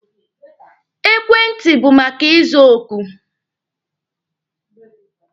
Ekwentị bụ maka iza oku.